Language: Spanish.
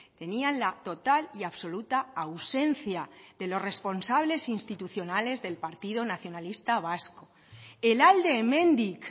tenían la total y absoluta ausencia de los responsables institucionales del partido nacionalista vasco el alde hemendik